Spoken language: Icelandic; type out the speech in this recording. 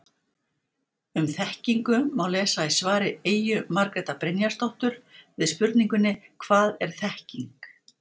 Um þekkingu má lesa í svari Eyju Margrétar Brynjarsdóttur við spurningunni Hvað er þekking?